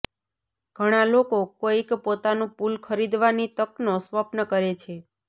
ઘણાં લોકો કોઈક પોતાનું પૂલ ખરીદવાની તકનો સ્વપ્ન કરે છે